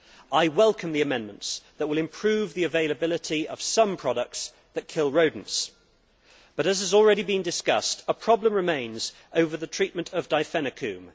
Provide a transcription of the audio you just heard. I welcome the amendments that will improve the availability of some products that kill rodents but, as has already been discussed, a problem remains over the treatment of Difenacoum.